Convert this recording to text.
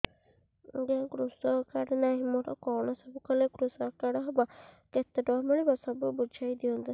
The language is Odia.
ଆଜ୍ଞା କୃଷକ କାର୍ଡ ନାହିଁ ମୋର କଣ ସବୁ କଲେ କୃଷକ କାର୍ଡ ହବ କେତେ ଟଙ୍କା ମିଳିବ ସବୁ ବୁଝାଇଦିଅନ୍ତୁ